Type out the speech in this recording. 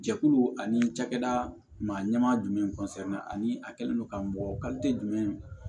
Jɛkulu ani cakɛda maa ɲɛma jumɛn ani a kɛlen don ka mɔgɔ jumɛn